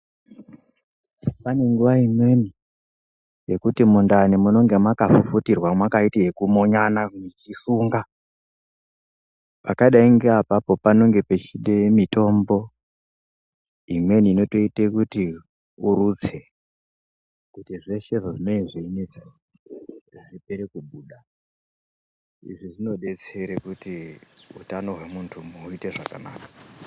Pane nguva imweni yekuti mundani munenge makafufutirwa makaite yekumonana muchisunga. Pakadai ngeapapo panenge pechide mitombo imweni inotoite kuti urutse. Kuti zveshe zvazvine zviinetsa zvipere kubuda, izvi zvinobetsere kuti utano hwemuntu huite zvakanaka.